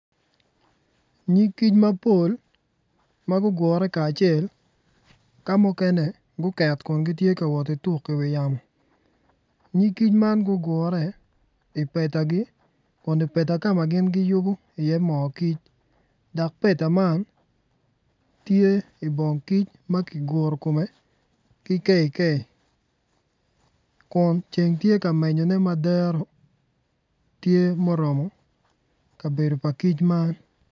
Nyig kic mapol ma gugure kacel ka mukene guket gun giwoti tuk i wi yamo nyig kic man gugure ipetagi kun ipeta ka ma giyubu iye moo kic dok peta man tye i bong kic ma ki guru komme ki kei kei kun ceng tye ka menyone ma dero tye muromo kabedo pa kic man